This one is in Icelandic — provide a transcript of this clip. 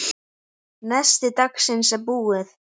Nesti dagsins er búið.